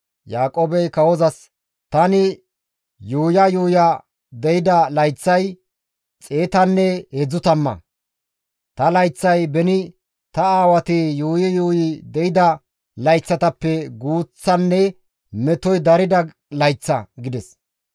Yaaqoobey kawozas, «Tani yuuya yuuya deyida layththay 130; ta layththay beni ta aawati yuuyi yuuyi deyida layththatappe guuththanne metoy darida layththa» gides.